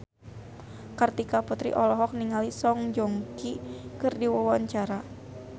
Kartika Putri olohok ningali Song Joong Ki keur diwawancara